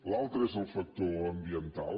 l’altre és el factor ambiental